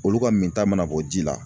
Olu ka minta mana bɔ ji la.